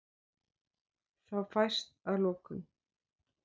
Þá fæst að lokum